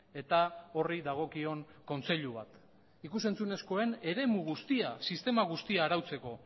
eta horri dagokion kontseilu bat ikus entzunezkoen eremu guztia sistema guztia arautzeko